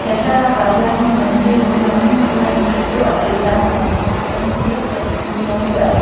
he thlalakah hianin mandir lo langin chu mandir chu a chei nan pangpar eng te serthlum rawng te a se--